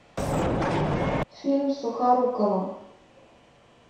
фильм с сухоруковым